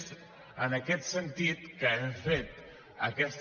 és en aquest sentit que hem fet aquesta